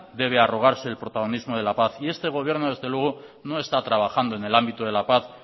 debe arrogarse el protagonismo de la paz y este gobierno desde luego no está trabajando en el ámbito de la paz